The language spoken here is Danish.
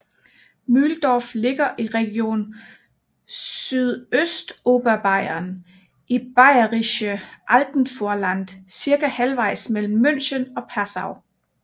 Mühldorf ligger i region Sydøstoberbayern i Bayerisches Alpenvorland cirka halvejs mellem München og Passau